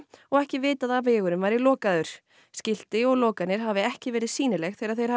og ekki vitað að vegurinn væri lokaður skilti og lokanir hafi ekki verið sýnileg þegar þeir hafi